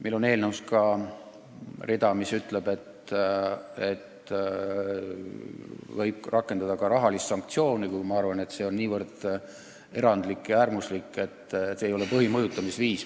Meil on eelnõus ka rida, mis ütleb, et võib rakendada ka rahalist sanktsiooni, kuid ma arvan, et see oleks väga erandlik ja äärmuslik, mitte põhiline mõjutamisviis.